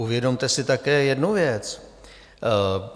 Uvědomte si také jednu věc.